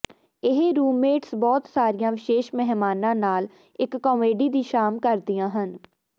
ਇਹ ਰੂਮਮੇਟਸ ਬਹੁਤ ਸਾਰੀਆਂ ਵਿਸ਼ੇਸ਼ ਮਹਿਮਾਨਾਂ ਨਾਲ ਇਕ ਕਾਮੇਡੀ ਦੀ ਸ਼ਾਮ ਕਰਦੀਆਂ ਹਨ